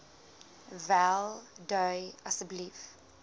wel dui asseblief